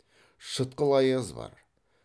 шытқыл аяз бар